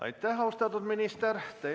Aitäh, austatud minister!